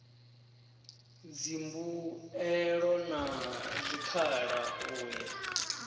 dzimbuelo na zwikhala u ya